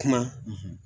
Kuma